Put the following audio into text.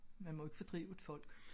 Man må ikke fordrive et folk